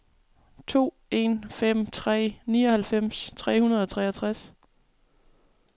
to en fem tre nioghalvfems tre hundrede og treogtres